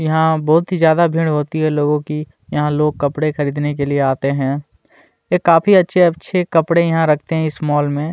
यहाँ बहुत ही ज्यादा भीड़ होती है लोगो की यहाँ लोग कपड़े खरीदने के लिए आते है यह काफी अच्छे-अच्छे कपड़े रखते है इस मोल में।